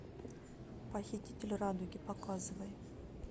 похититель радуги показывай